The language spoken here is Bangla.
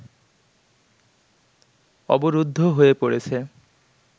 অবরুদ্ধ হয়ে পড়েছে